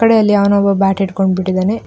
ಕಡೆ ಅಲ್ಲಿ ಯಾವನೋ ಒಬ್ಬ ಬ್ಯಾಟ್ ಹಿಡ್ಕೊಂಡು ಬಿಟ್ಟಿದಾನೆ.